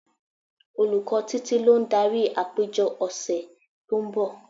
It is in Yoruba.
Olùkọ́ Títí lo ń darí àpéjọ ọ̀sẹ̀ tó ń bọ̀.